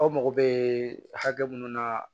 Aw mago bɛ hakɛ mun na